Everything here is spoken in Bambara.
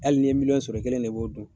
Hali ni ye miliyɔn sɔrɔ, i kelen ne b'o dun.